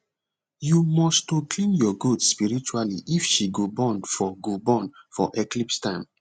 you must to clean your goat spiritually if she go born for go born for eclipse time